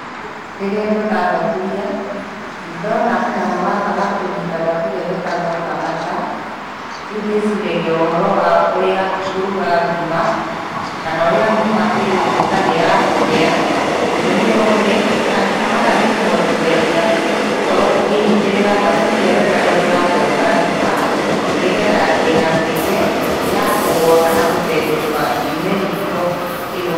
Rĩrĩa ndona thaburia, na ndona kanyamũ gaka ga kũnyita thaburia getagwo kamata, rĩu ndĩciragia ũhoro wa ũrĩa ngũruga ngima, kana ũrĩa ngima ĩgũtuĩka nĩ ya kũhĩa, tondũ kamata nĩkũhotithagia gũkorwo ũkĩnyitĩrĩra thaburia wega rĩrĩa ũrathonga ngima, nĩgetha ndĩgatuĩke, ya kũgũa kana gũtenderũka yume riko ĩgwe.